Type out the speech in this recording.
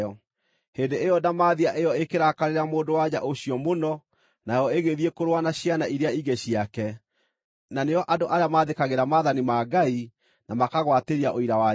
Hĩndĩ ĩyo ndamathia ĩyo ĩkĩrakarĩra mũndũ-wa-nja ũcio mũno, nayo ĩgĩthiĩ kũrũa na ciana iria ingĩ ciake, na nĩo andũ arĩa maathĩkagĩra maathani ma Ngai, na makagwatĩria ũira wa Jesũ.